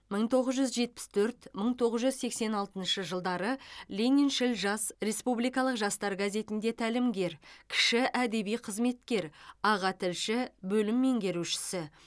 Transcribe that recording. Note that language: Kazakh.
мың тоғыз жүз жетпіс төрт мың тоғыз жүз сексен алтыншы жылдары лениншіл жас респубикалық жастар газетінде тәлімгер кіші әдеби қызметкер аға тілші бөлім меңгерушісі